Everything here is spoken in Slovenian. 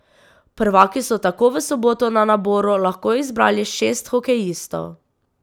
Prvaki so tako v soboto na naboru lahko izbrali šest hokejistov.